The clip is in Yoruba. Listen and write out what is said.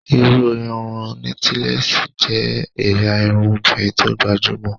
ìhun irun nọ́tílẹ́ẹ́sì jẹ́ ẹ̀yà irun obìnrin tó gbajúmọ̀